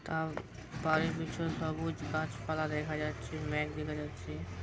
তাও বাড়ির পেছনে সবুজ গাছপালা দেখা যাচ্ছে মেঘ দেখা যাচ্ছে।